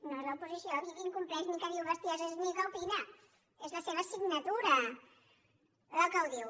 no és l’oposició aquí qui incompleix ni que diu bestieses ni que opina és la seva signatura la que ho diu